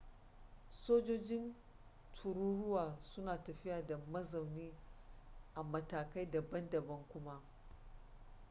sojojin tururuwa suna tafiya da mazauni a matakai daban-daban kuma